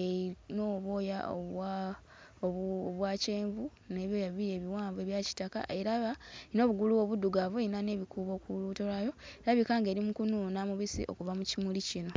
eyina obwoya obwa obwa kyenvu n'ebyoya bibiri ebiwanvu ebya kitaka, era nga n'obugulu obuddugavu, eyina n'ebikuubo ku lubuto lwayo, erabika ng'eri mu kunuuna mubisi okuva mu kimuli kino.